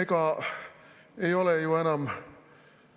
Ega ei ole enam